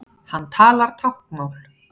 Hann talar táknmál.